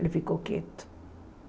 Ele ficou quieto.